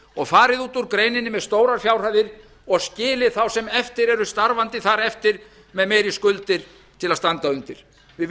og farið út úr greininni með stórar fjárhæðir og skilið þá sem eftir eru starfandi þar eftir með meiri skuldir til að standa undir við